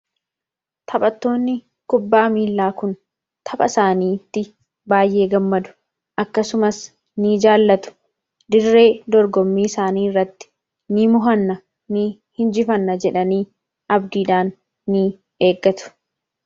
Taphattoonni kubbaa miilaa kun tapha isaaniitti baay'ee gammadu akkasumas ni jaallatu dirree dorgommii isaanii irratti ni ni injifanna jedhanii abdiidhaan ni eegatu.